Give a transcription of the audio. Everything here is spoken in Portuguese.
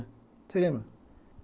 Você lembra?